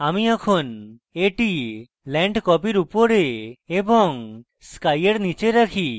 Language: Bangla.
আমি এখন এটি land copy উপরে এবং sky এর নীচে রাখি